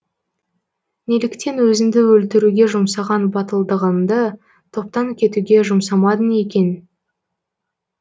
неліктен өзінді өлтіруге жұмсаған батылдығынды топтан кетуге жұмсамадың екен